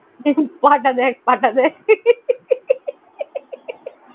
পা টা দেখ পা টা দেখ